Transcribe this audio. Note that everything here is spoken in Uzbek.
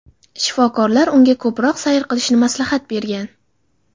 Shifokorlar unga ko‘proq sayr qilishni maslahat bergan.